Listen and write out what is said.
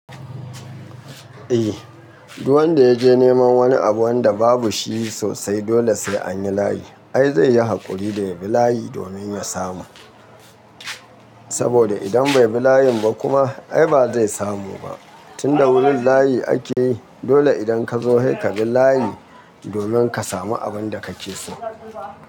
Eh, duk wanda ya je neman wani abu wanda babu shi sosai, dole sai an yi layi. Ai zai yi haƙuri da ya bi layi domin ya samu. Saboda idan bai bi layin ba kuma, ai ba zai samu ba. Tunda wurin layi ake yi, dole idan ka zo sai ka bi layi domin ka samu abin da kake so.